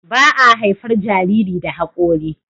baa haifar Jariri da hakori